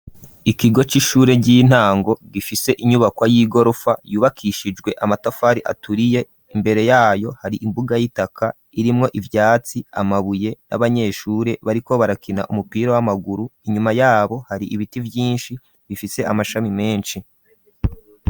Ikigo c'ishure ry'intango gifise inyubakwa y'igorofa yubakishijwe amatafari aturiye imbere yayo hari imbuga y'itaka irimwo ivyatsi amabuye n'abanyeshure bariko barakina umupira w'amaguru inyuma yabo hari ibiti vyinshi bifise amashami menshi.